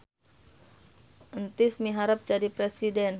Entis miharep jadi presiden